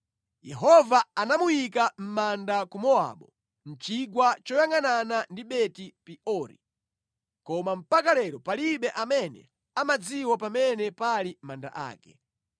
Yehova anamuyika mʼmanda ku Mowabu, mʼchigwa choyangʼanana ndi Beti-Peori, koma mpaka lero palibe amene amadziwa pamene pali manda ake.